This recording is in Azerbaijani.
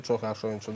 Çox yaxşı oyunçudur.